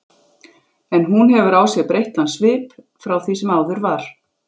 En hún hefur á sér breyttan svip frá því sem áður var.